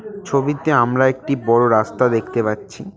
ছবিতে আমরা একটি বড়ো রাস্তা দেখতে পাচ্ছি।